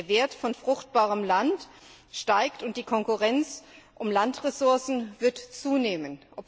Der Wert von fruchtbarem Land steigt, und die Konkurrenz um Landressourcen wird zunehmen.